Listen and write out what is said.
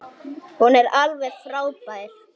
Hún er alveg frábær.